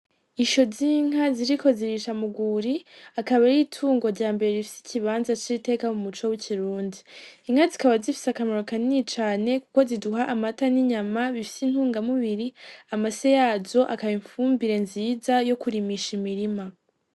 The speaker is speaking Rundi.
Isho z'inka ziriko zirisha mugwuri akaba aritungo ryambere rifise ikibanza c'iteka mumuco w'ikirundi, Inka zikaba zifise akamaro kanini cane kuko ziduha amata n'inyama bifise intunga mubiri, amase yazo akaba ifumbire nziza yokurimisha imirima.